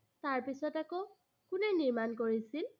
তাৰ পিছত আকৌ, কোনে নিৰ্মাণ কৰিছিল?